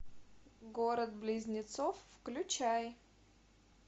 город близнецов включай